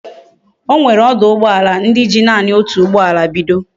Onwere oduugboala ndi ji nani otu ugboala bido